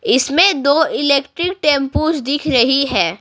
इसमें दो electric tempos दिख रही है।